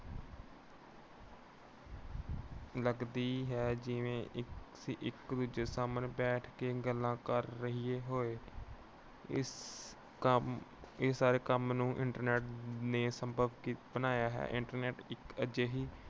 ਲੱਗਦੀ ਹੈ ਜਿਵੇਂ ਅਸੀਂ ਇੱਕ ਦੂਜੇ ਸਾਹਮਣੇ ਬੈਠ ਕੇ ਗੱਲਾਂ ਕਰ ਰਹੀਏ ਹੋਏ। ਇਸ ਕੰਮ ਅਹ ਇਸ ਸਾਰੇ ਕੰਮ ਨੂੰ internet ਨੇ ਸੰਭਵ ਕੀਤਾ ਅਹ ਬਣਾਇਆ ਹੈ। internet ਇੱਕ ਅਜਿਹੀ